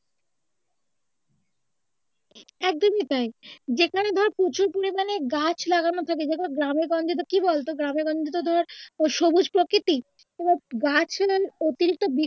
একদমই তাই যেখানে ধর প্রচুর পরিমানে গাছ লাগানো থাকে যেমন গ্রামে গঞ্জে ধর কি বলতো গ্রামেগঞ্জে তো ধর ও সবুজ প্রকৃতি ধর গাছের অতিরিক্ত